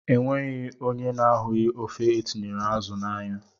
Enweghị ónyé na-ahughi ofe etinyere azụ na ányá.